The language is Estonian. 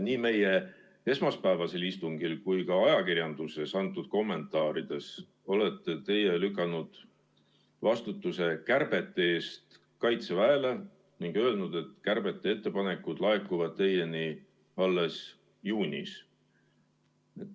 Nii esmaspäevasel istungil kui ka ajakirjanduses antud kommentaarides olete teie lükanud vastutuse kärbete eest kaitseväele ning öelnud, et kärbete ettepanekud laekuvad teile alles juunis.